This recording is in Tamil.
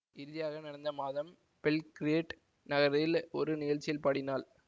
இறுதியாக கடந்த மாதம் பெல்கிரேட் நகரில் ஒரு நிகழ்ச்சியில் பாடினாள்